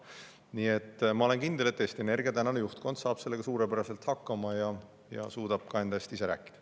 Nii et ma olen kindel, et Eesti Energia tänane juhtkond saab sellega suurepäraselt hakkama ja suudab ka enda eest ise rääkida.